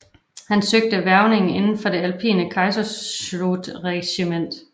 Han søgte hvervning inden for det alpine Kaiserschützenregiment